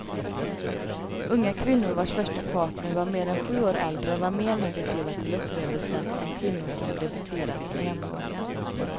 Unga kvinnor vars första partner var mer än sju år äldre var mer negativa till upplevelsen än kvinnor som debuterat med jämnåriga.